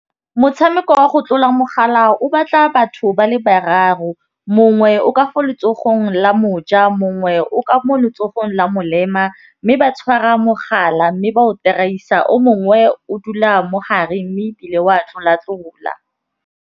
Motšhameko wa go tlola mogala o batla batho ba le bararo. Mongwe o ka fa letsogong la moja mongwe o ka mo letsogong la molema, mme ba tshwara mogala mme ba o o mongwe o dula mogare mme ebile wa tlola tlola.